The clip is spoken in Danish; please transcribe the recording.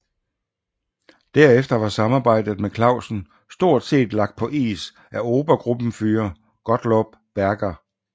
Derefter var samarbejdet med Clausen stort set lagt på is af Obergruppenführer Gottlob Berger